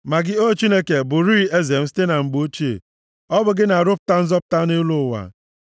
Ma gị, O Chineke, bụrịị eze m site na mgbe ochie. Ọ bụ gị na-arụpụta nzọpụta nʼelu ụwa.